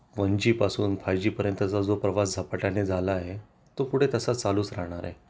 1 G पासून 5 G पर्यंतचा जो प्रभाव झपाट्याने झाला आहे तो पुढे तसा चालूच राहणार आहे